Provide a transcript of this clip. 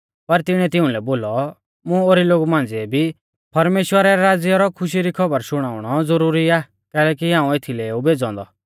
पर तिणीऐ तिउंलै बोलौ मुं ओरी लोगु मांझ़िऐ भी परमेश्‍वरा रै राज़्या रौ खुशी री खौबर शुणाउणौ ज़ुरुरी आ कैलैकि हाऊं एथीलै ऊ भेज़ौ औन्दौ